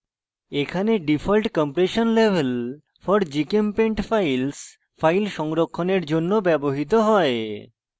এখানে default compression level for gchempaint files files সংরক্ষণের জন্য ব্যবহৃত হয়